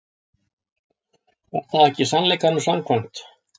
Var það ekki sannleikanum samkvæmt?